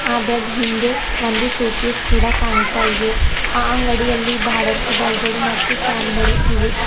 ಆ ಬೆಡ್ ಹಿಂದೆ ಒಂದು ಶೋಕೆಸ್ ಕೂಡ ಕಾಣುತ್ತಾ ಇದೆ ಆ ಅಂಗಡಿಯಲ್ಲಿ ಬಹಳಷ್ಟು ಡೈಗಳು ಮತ್ತು ಫ್ಯಾನ್ ಗಳು ಇವೆ.